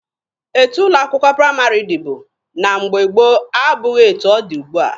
Etu ụlọ akwụkwọ praịmarị dịbu na mgbe gboo abụghị etu ọ dị ugbua.